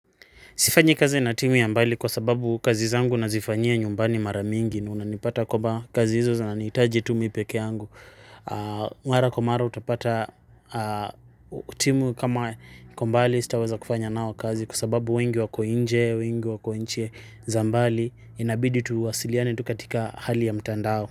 Sifanyi kazi na timu ya mbali kwa sababu kazi zangu na zifanyia nyumbani maramingi na unanipata kuwa kazi hizo zinanihitaji tu mimi peke yangu. Mara kwa mara utapata timu kama iko mbali sitaweza kufanya nao kazi kwa sababu wengi wako nje, wengi wako nchi zambali inabidi tuwasiliane tukatika hali ya mtandao.